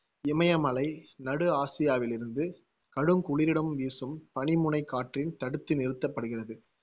இமயமலை நடு ஆசியாவிலிருந்து கடுங்குளிருடன் வீசும் பனிமுனைக் காற்றின் தடுத்து நிறுத்தப்படுகிறது.